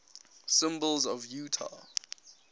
symbols of utah